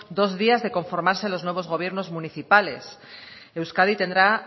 dos días de conformarse los nuevos gobiernos municipales euskadi tendrá